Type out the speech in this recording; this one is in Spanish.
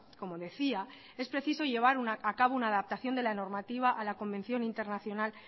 como decía es preciso llevar a cabo una adaptación de la normativa a la convención internacional